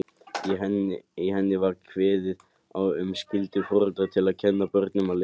Í henni var kveðið á um skyldu foreldra til að kenna börnum að lesa.